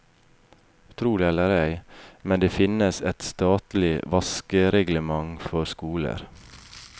Tro det eller ei, men det finnes et statlig vaskereglement for skoler.